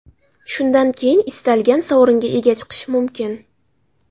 Shundan keyin istalgan sovringa ega chiqish mumkin.